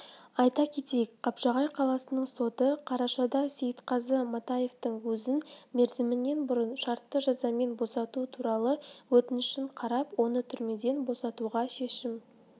айта кетейік қапшағай қаласының соты қарашада сейітқазы матаевтың өзін мерзімінен бұрын шартты жазамен босату туралы өтінішін қарап оны түрмеден босатуға шешім